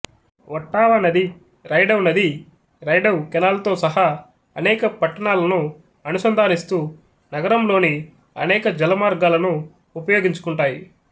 Ottawa నది Rideau నది Rideau కెనాల్తో సహా అనేక పట్టణాలను అనుసంధానిస్తూ నగరంలోని అనేక జలమార్గాలను ఉపయోగించుకుంటాయి